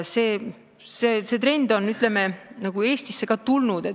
See trend on ka Eestisse tulnud.